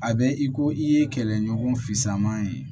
A bɛ i ko i ye kɛlɛɲɔgɔn fama ye